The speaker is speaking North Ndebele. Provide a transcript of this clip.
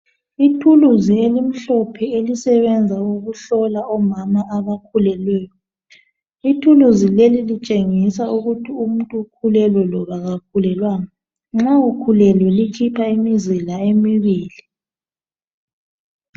Ithuluzi elimhlophe elisebenza ukuhlola omama abakhulelweyo ,ithuluzi leli litshengisa ukuthi umuntu ukhulelwe loba kakhulelwanga, nxa ukhulelwe likhipha imizila emibili.